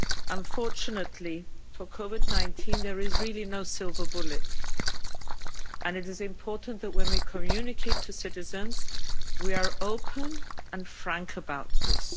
Unfortunately, for COVID-19 there is really no silver bullet and it is important that when we communicate to citizens, we are open and frank about this.